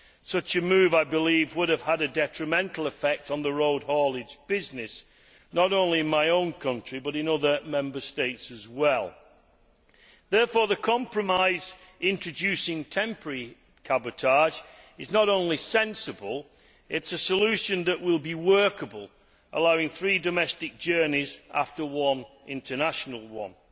Such a move, I believe, would have had a detrimental effect on the road haulage business, not only in my own country but in other Member States as well. Therefore the compromise introducing temporary cabotage is not only sensible, it is a solution that will be workable, allowing three domestic journeys after one international one.